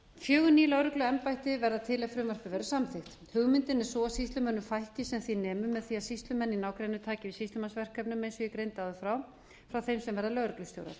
fjögur ný lögregluembætti verða til ef frumvarpið verður samþykkt hugmyndin er sú að sýslumönnum fækki sem því nemur með því að sýslumenn í nágrenninu taki við sýslumannsverkefnum eins og ég greindi áður frá frá þeim sem verða lögreglustjórar